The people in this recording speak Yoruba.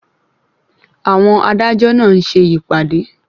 Àwọn adájọ́ náà ń ṣe ìpàdé.